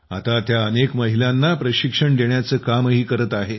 आता त्या अनेक महिलांना प्रशिक्षण देण्याचे कामही करत आहे